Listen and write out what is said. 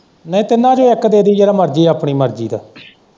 ਨਹੀਂ ਤਿੰਨਾਂ ਚੋਂ ਇੱਕ ਦੇ ਦੇਈ ਜਿਹੜਾ ਮਰਜ਼ੀ ਆਪਣੀ ਮਰਜ਼ੀ ਦਾ।